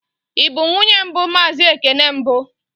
Ị bụ nwunye mbụ Mazị Ekene mbụ?